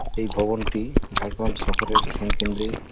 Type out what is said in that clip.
এই ভবনটি ঝাড়গ্রাম শহরের বিধান কেন্দ্রেই ।